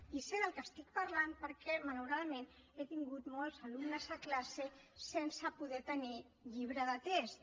i sé del que estic parlant perquè malauradament he tingut molts alumnes a classe sense poder tenir llibre de text